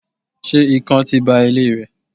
se ikán ti ba ile rẹ?